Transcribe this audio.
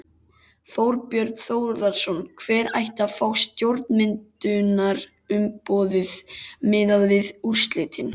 Þorbjörn Þórðarson: Hver ætti að fá stjórnarmyndunarumboðið miðað við úrslitin?